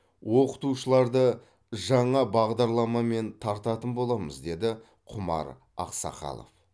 оқытушыларды жаңа бағдарламамен тартатын боламыз деді құмар ақсақалов